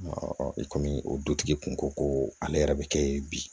i kɔmi o dutigi kun ko ko ale yɛrɛ bɛ kɛ ye bi